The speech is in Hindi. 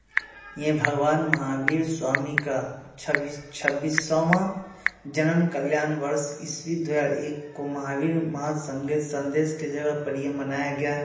ये भगवान महावीर स्वामी का छबीस छब्बीसवाँ जन्म कल्याण वर्ष ईस्वी दो हजार एक को माहवीर माह संगे सन्देश के जगह पर ये मनाया गया।